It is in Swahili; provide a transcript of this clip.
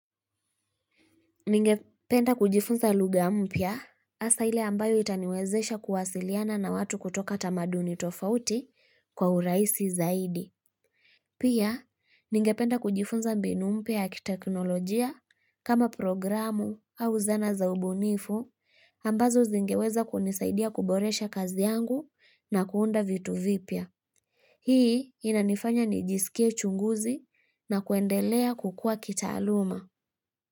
Ningependa kujifunza lugha mpya hasa ile ambayo itaniwezesha kuwasiliana na watu kutoka tamaduni tofauti kwa uraisi zaidi. Pia, ningependa kujifunza mbinu mpya ya kiteknolojia kama programu au zana za ubunifu ambazo zingeweza kunisaidia kuboresha kazi yangu na kuunda vitu vipya. Hii inanifanya nijisikie chunguzi na kuendelea kukua kitaaluma.